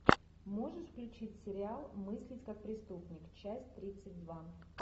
можешь включить сериал мыслить как преступник часть тридцать два